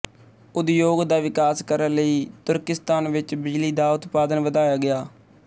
ਉਦਯੋਗ ਦਾ ਵਿਕਾਸ ਕਰਣ ਲਈ ਤੁਰਕਿਸਤਾਨ ਵਿੱਚ ਬਿਜਲੀ ਦਾ ਉਤਪਾਦਨ ਵਧਾਇਆ ਗਿਆ